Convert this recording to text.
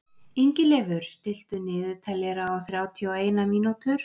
Ingileifur, stilltu niðurteljara á þrjátíu og eina mínútur.